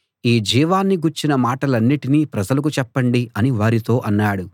ఈ జీవాన్ని గూర్చిన మాటలన్నిటినీ ప్రజలకు చెప్పండి అని వారితో అన్నాడు